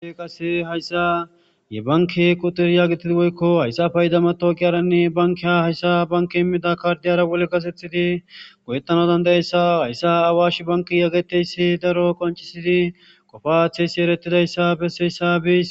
qas hayssa ye banki qutiryaagitidi woykko hayssa payida mato kiyaranne bankia hayssa banki immida kaardiyara wole gasethidi goyettano dandayessa hayssa awash banki yaggeteyssi daro qoncisidi qofaththeyssi eretidayssa besseyssa bis